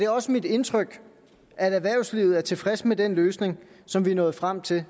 også mit indtryk at erhvervslivet er tilfreds med den løsning som vi er nået frem til